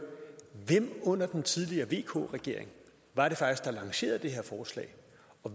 hvem under den tidligere vk regering var det faktisk der lancerede det her forslag